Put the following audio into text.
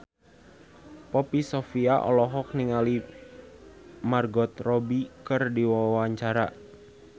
Poppy Sovia olohok ningali Margot Robbie keur diwawancara